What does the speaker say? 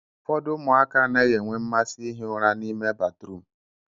ụfodụ ụmụaka anaghị enwe mmasị ihi ura na-ime batrum